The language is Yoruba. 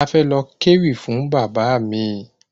A fẹ lọ kéwì fún Bàbá mi